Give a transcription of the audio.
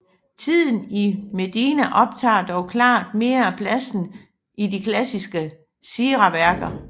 Tiden i Medina optager dog klart mere af pladsen i de klassiske siraværker